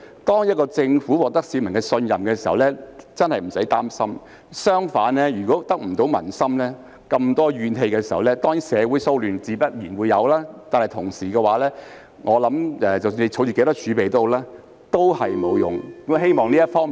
當一個政府得民心並獲得市民信任時，真的無須擔心；相反，如果得不到民心，令市民充滿怨氣，自然會有社會騷亂，這樣不管政府有多少儲備也沒有用。